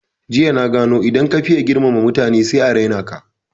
Jiya na gano idan ka faye girmama mutane sai a raina ka